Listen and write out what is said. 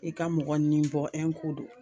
I ka mɔgɔ ni bɔ don.